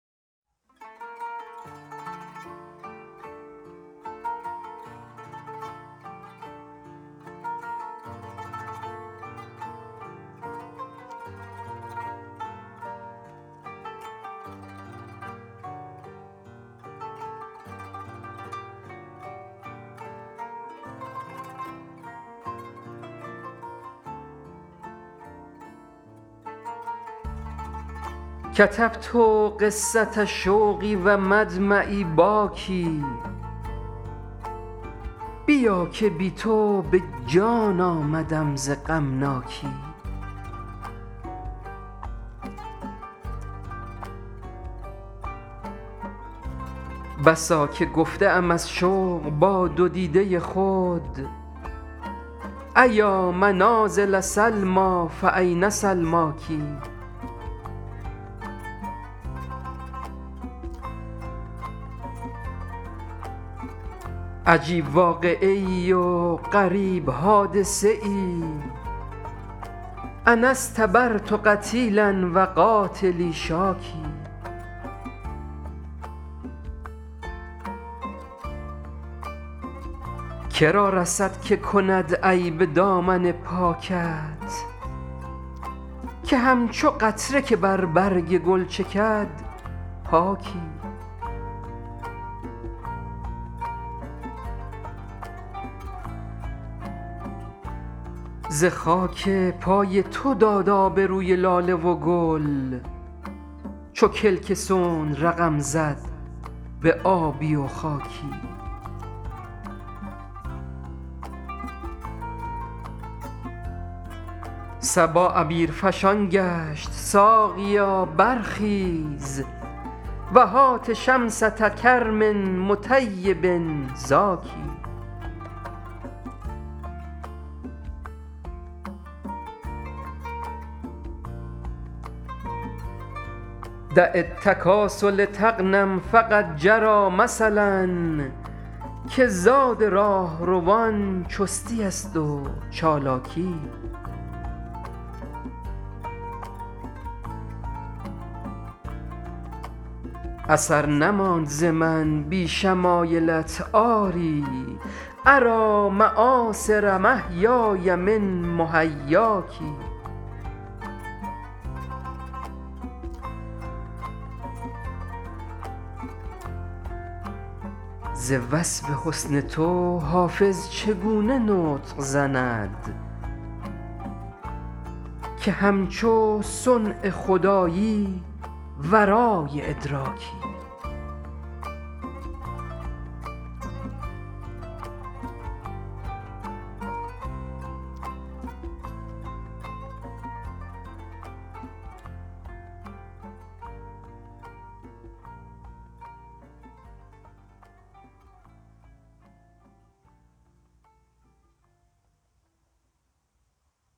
کتبت قصة شوقی و مدمعی باکی بیا که بی تو به جان آمدم ز غمناکی بسا که گفته ام از شوق با دو دیده خود أیا منازل سلمیٰ فأین سلماک عجیب واقعه ای و غریب حادثه ای أنا اصطبرت قتیلا و قاتلی شاکی که را رسد که کند عیب دامن پاکت که همچو قطره که بر برگ گل چکد پاکی ز خاک پای تو داد آب روی لاله و گل چو کلک صنع رقم زد به آبی و خاکی صبا عبیرفشان گشت ساقیا برخیز و هات شمسة کرم مطیب زاکی دع التکاسل تغنم فقد جری مثل که زاد راهروان چستی است و چالاکی اثر نماند ز من بی شمایلت آری أری مآثر محیای من محیاک ز وصف حسن تو حافظ چگونه نطق زند که همچو صنع خدایی ورای ادراکی